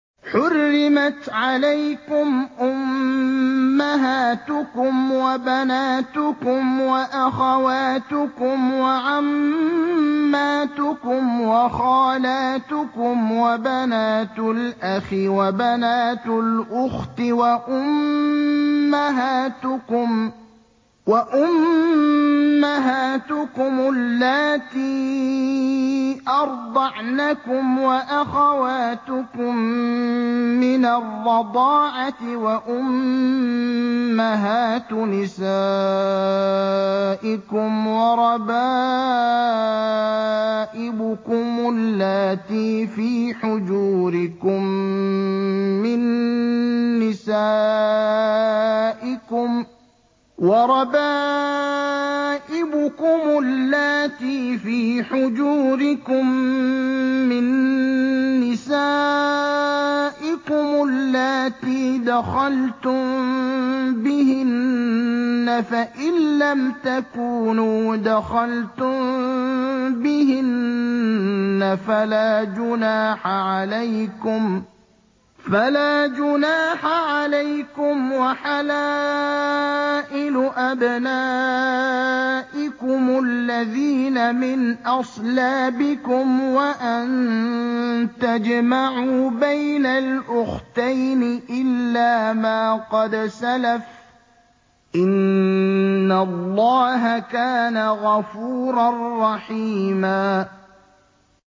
حُرِّمَتْ عَلَيْكُمْ أُمَّهَاتُكُمْ وَبَنَاتُكُمْ وَأَخَوَاتُكُمْ وَعَمَّاتُكُمْ وَخَالَاتُكُمْ وَبَنَاتُ الْأَخِ وَبَنَاتُ الْأُخْتِ وَأُمَّهَاتُكُمُ اللَّاتِي أَرْضَعْنَكُمْ وَأَخَوَاتُكُم مِّنَ الرَّضَاعَةِ وَأُمَّهَاتُ نِسَائِكُمْ وَرَبَائِبُكُمُ اللَّاتِي فِي حُجُورِكُم مِّن نِّسَائِكُمُ اللَّاتِي دَخَلْتُم بِهِنَّ فَإِن لَّمْ تَكُونُوا دَخَلْتُم بِهِنَّ فَلَا جُنَاحَ عَلَيْكُمْ وَحَلَائِلُ أَبْنَائِكُمُ الَّذِينَ مِنْ أَصْلَابِكُمْ وَأَن تَجْمَعُوا بَيْنَ الْأُخْتَيْنِ إِلَّا مَا قَدْ سَلَفَ ۗ إِنَّ اللَّهَ كَانَ غَفُورًا رَّحِيمًا